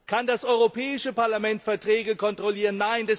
Kann das Europäische Parlament Verträge kontrollieren?